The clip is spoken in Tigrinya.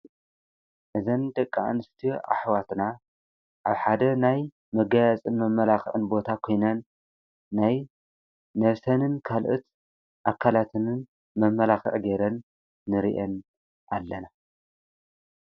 እዘን ደቃኣን ስት ኣኅዋትና ኣብ ሓደ ናይ መጋያፅን መኣለናዕን ቦታ ኾይናን ናይ ነፍሰንን ካልእት ኣካላትንን መመላኽዕ ጌይረን ንርየን ኣለና።